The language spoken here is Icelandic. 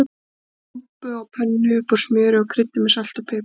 Við steikjum rjúpu á pönnu upp úr smjöri og kryddum með salti og pipar.